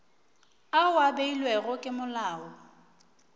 ao a beilwego ke molao